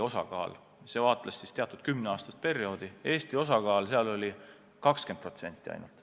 Üldse vaadeldi teatud kümne aasta pikkust perioodi ja Eesti osakaal oli 20% ainult.